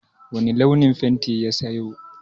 Wani launin fenti ya sayo?